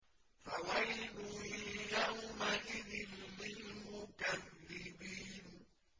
فَوَيْلٌ يَوْمَئِذٍ لِّلْمُكَذِّبِينَ